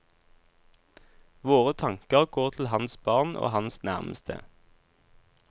Våre tanker går til hans barn og hans nærmeste.